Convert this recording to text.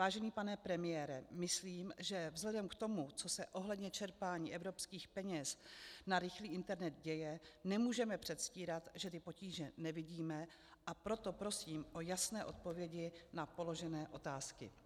Vážený pane premiére, myslím, že vzhledem k tomu, co se ohledně čerpání evropských peněz na rychlý internet děje, nemůžeme předstírat, že ty potíže nevidíme, a proto prosím o jasné odpovědi na položené otázky.